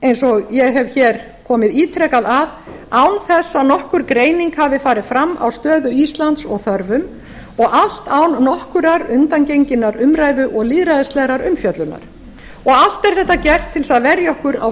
eins og ég hef komið ítrekað að án þess að nokkur greining hafi farið fram á stöðu íslands og þörfum og allt án nokkurrar undangenginnar umræðu og lýðræðislegrar umfjöllunar allt er þetta gert til þess að verja okkur á